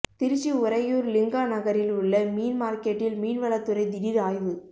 திருச்சி உறையூர் லிங்கா நகரில் உள்ள மீன் மார்க்கெட்டில் மீன்வளத்துறை திடீர் ஆய்வு